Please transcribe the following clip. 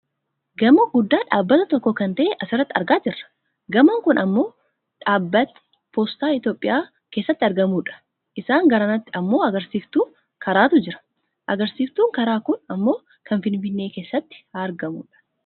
gamoo guddaa dhaabbata tokkoo kan ta'e asirratti argaa jirra . gamoon kun gamoo dhaabbatni poostaa Itoopiyaa keessatti argamudha. isaan garanatti ammoo agarsiiftuu karaatu jira. agarsiiftuun karaa kun ammoo kan finfinnee keessatti argamudha.